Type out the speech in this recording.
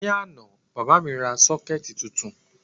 Ní àná, bàbá mi ra sọ́kẹ́ẹ̀tì titun